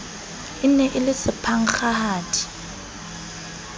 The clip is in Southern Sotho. e ne e le sephankgahadi